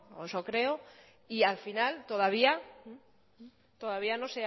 eso creo y al final todavía todavía